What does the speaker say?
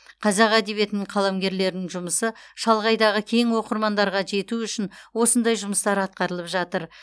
қазақ әдебиетінің қаламгерлерінің жұмысы шалғайдағы кең оқырмандарға жету үшін осындай жұмыстар атқарылып жатыр